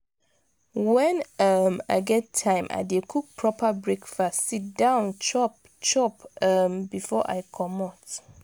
wen um i get time i dey cook proper breakfast sit down chop chop um before i comot.